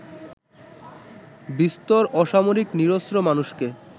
বিস্তর অসামরিক নিরস্ত্র মানুষকে